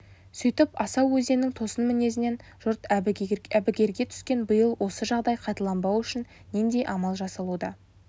сөйтіп асау өзеннің тосын мінезінен жұрт әбігерге түскен биыл осы жағдай қайталанбауы үшін нендей амал жасалуда